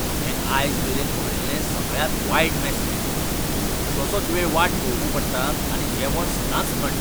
हांवें आयजमेरेन पळयल्लें सगळ्यांत वायट मॅस हें. कितलोसोच वेळ वाट पळोवची पडटा आनी जेवण सदांच थंड.